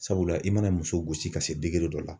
Sabula i mana muso gosi ka se dɔ la.